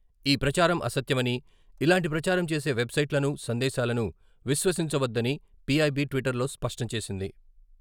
ఈ ప్రచారం అసత్యమని, ఇలాంటి ప్రచారం చేసే వెబ్ సైట్లను, సందేశాలను విశ్వసించవద్దని పి.ఐ.బి. ట్విటర్లో స్పష్టం చేసింది.